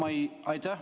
Aitäh!